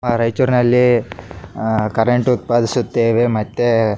ಆ ರೈಚೂರಿನಲ್ಲಿ ಅಹ್ ಕರೆಂಟ್ ಉತ್ಪಾದಿಸುತ್ತೇವೆ ಮತ್ತೆ --